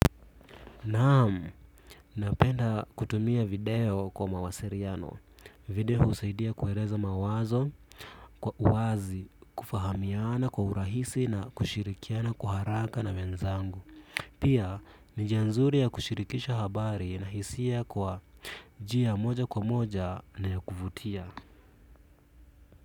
Naamu, napenda kutumia video kwa mawasiliano. Video husaidia kueleza mawazo, kwa uwazi, kufahamiana kwa urahisi na kushirikiana kwa haraka na wenzangu. Pia, ni njia nzuri ya kushirikisha habari na hisia kwa njia moja kwa moja na ya kuvutia.